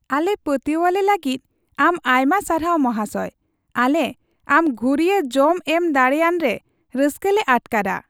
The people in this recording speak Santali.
ᱟᱞᱮ ᱯᱟᱹᱛᱭᱟᱹᱣᱟᱞᱮ ᱞᱟᱹᱜᱤᱫ ᱟᱢ ᱟᱭᱢᱟ ᱥᱟᱨᱦᱟᱣ , ᱢᱟᱦᱟᱥᱚᱭ ᱾ ᱟᱞᱮ ᱟᱢ ᱜᱷᱩᱨᱤᱭᱟᱹ ᱡᱚᱢ ᱮᱢ ᱫᱟᱲᱮᱭᱟᱱ ᱨᱮ ᱨᱟᱹᱥᱠᱟᱹᱞᱮ ᱟᱴᱠᱟᱨᱼᱟ ᱾